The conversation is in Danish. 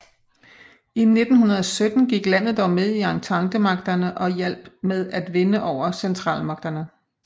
I 1917 gik landet dog med i ententemagterne og hjalp med at vinde over centralmagterne